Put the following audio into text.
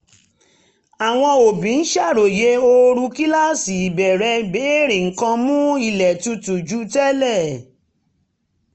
àwọn òbí ń ṣàròyé ooru kíláàsì bẹ̀rẹ̀ béèrè nǹkan mú um ilé tutù ju tẹ́lẹ̀